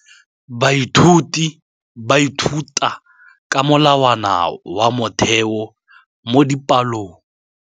Baithuti ba ithuta ka molawana wa motheo mo dipalong.